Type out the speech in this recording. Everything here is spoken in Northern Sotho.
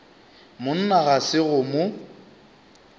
monna ga se go mo